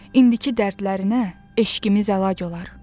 İndiki dərdlərinə eşqimiz əlac olar.